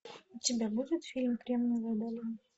у тебя будет фильм кремниевая долина